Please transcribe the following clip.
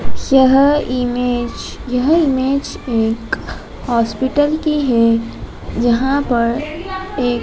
यह इमेज यह इमेज एक हॉस्पिटल की है जहाँ पर एक --